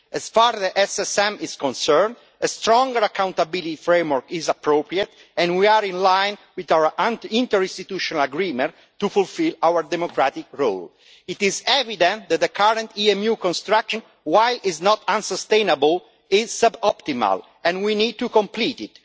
As far as the SSM is concerned, a stronger accountability framework is appropriate and we are in line with our interinstitutional agreement to fulfil our democratic role. It is evident that the current EMU construction, while it is not unsustainable, is sub optimal and we need to complete it.